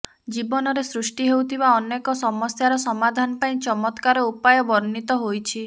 ଜୀବନରେ ସୃଷ୍ଟି ହେଉଥିବା ଅନେକ ସମସ୍ୟାର ସମାଧାନ ପାଇଁ ଚତ୍ମକାର ଉପାୟ ବର୍ଣ୍ଣିତ ହୋଇଛି